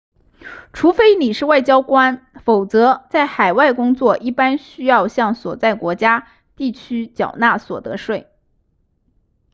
除非你是外交官否则在海外工作一般需要向所在国家地区缴纳所得税